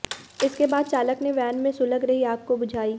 इसके बाद चालक ने वैन में सुलग रही आग को बुझाई